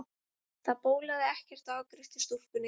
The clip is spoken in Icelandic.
Það bólaði ekkert á afgreiðslustúlkunni.